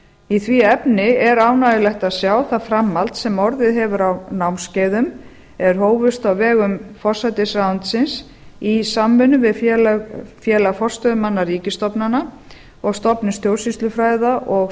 í því efni er ánægjulegt að sjá það framhald sem orðið hefur á námskeiðum er hófust á vegum forsætisráðuneytisins í samvinnu við félag forstöðumanna ríkisstofnana og stofnun stjórnsýslufræða og